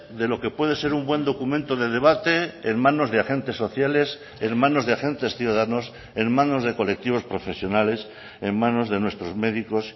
de lo que puede ser un buen documento de debate en manos de agentes sociales en manos de agentes ciudadanos en manos de colectivos profesionales en manos de nuestros médicos